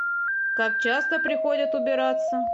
как часто приходят убираться